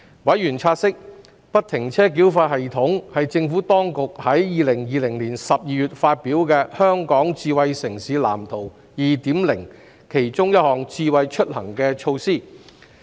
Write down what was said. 委員察悉，不停車繳費系統是政府當局於2020年12月發表的《香港智慧城市藍圖 2.0》的其中一項"智慧出行"措施。